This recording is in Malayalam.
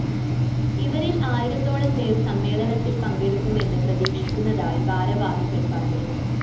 ഇവരില്‍ ആയിരത്തോളം പേര്‍ സമ്മേളനത്തില്‍ പങ്കെടുക്കുമെന്ന് പ്രതീക്ഷിക്കുന്നതായി ഭാരവാഹികള്‍ പറഞ്ഞു